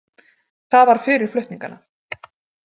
Það var fyrir flutningana.